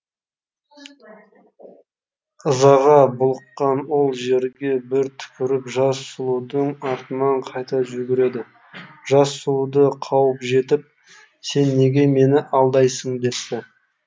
ызаға булыққан ол жерге бір түкіріп жас сұлудың артынан қайта жүгіреді жас сұлуды қуып жетіп сен неге мені алдайсың депті